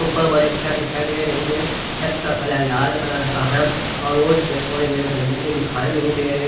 ऊपर वाले छत दिखाई दे रही है छत का कलर लाल कलर का है और रोट पे कोई भी गंदगी दिखाई नहीं दे रही--